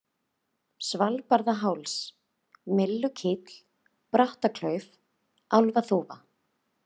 Svalbarðaháls, Myllukíll, Brattaklauf, Álfaþúfa